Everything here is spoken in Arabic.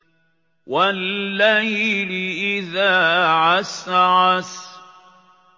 وَاللَّيْلِ إِذَا عَسْعَسَ